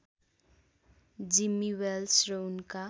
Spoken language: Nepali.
जिम्मी वेल्स र उनका